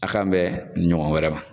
A' k'an bɛ nin ɲɔgɔn wɛrɛ ma.